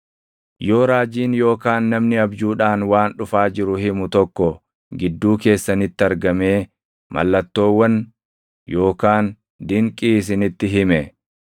Yoo raajiin yookaan namni abjuudhaan waan dhufaa jiru himu tokko gidduu keessanitti argamee mallattoowwan yookaan dinqii isinitti hime,